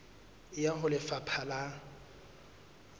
e ya ho lefapha la